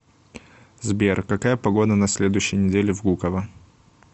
сбер какая погода на следующей неделе в гуково